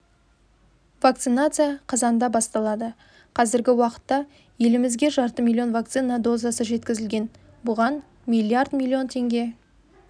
вакцинация қазанда басталады қазіргі уақытта елімізге жарты миллион вакцина дозасы жеткізілген бұған миллиард миллион теңге